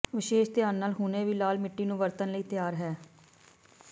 ਵਿਸ਼ੇਸ਼ ਧਿਆਨ ਨਾਲ ਹੁਣੇ ਹੀ ਲਾਲ ਮਿੱਟੀ ਨੂੰ ਵਰਤਣ ਲਈ ਤਿਆਰ ਹੈ